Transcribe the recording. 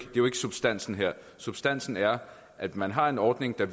substansen her substansen er at man har en ordning der